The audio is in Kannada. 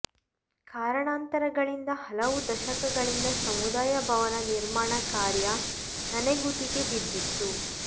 ಕಾರಣಾಂತರಗಳಿಂದ ಹಲವು ದಶಕಗಳಿಂದ ಸಮುದಾಯ ಭವನ ನಿರ್ಮಾಣ ಕಾರ್ಯ ನನೆಗುದಿಗೆ ಬಿದ್ದಿತ್ತು